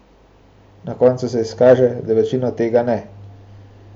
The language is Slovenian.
Na koncu se izkaže, da večino tega ne.